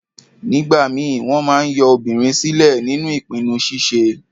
Nígbà ìmíì, wọ́n máa ń yọ obìnrin sílẹ̀ nínú ìpinnu ṣíṣe.